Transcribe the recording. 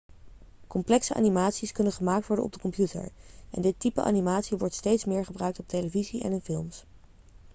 complexe animaties kunnen gemaakt worden op de computer en dit type animatie wordt steeds meer gebruikt op televisie en in films